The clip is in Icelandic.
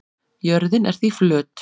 Jörðin er því flöt.